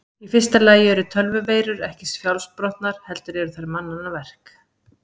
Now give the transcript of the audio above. Í fyrsta lagi eru tölvuveirur ekki sjálfsprottnar heldur eru þær mannanna verk.